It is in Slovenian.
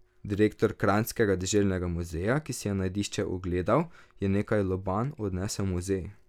Direktor Kranjskega deželnega muzeja, ki si je najdišče ogledal, je nekaj lobanj odnesel v muzej.